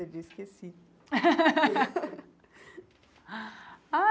Ele disse que sim.